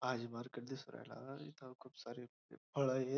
भाजी मार्केट दिसून राहील इथं खूप सारे फळं येत--